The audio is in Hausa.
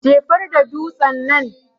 jefarda dutsen nan.